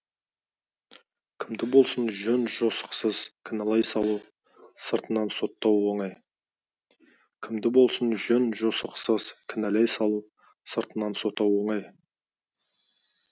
кімді болсын жөн жосықсыз кінәлай салу сыртынан соттау оңай кімді болсын жөн жосықсыз кінәлай салу сыртынан соттау оңай